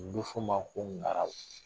Nin bɛ f'u ma fɔ ma ko ngaraw